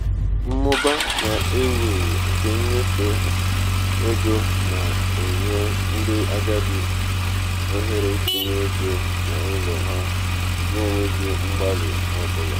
nnabata nke ndị lụrụ di na nwunye ọhụrụ tinyekwara ego nri na egwu jiri puku dolla asato gafee otu ha tuwara anya